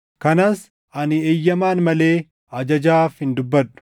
Kanas ani eeyyamaan malee ajajaaf hin dubbadhu.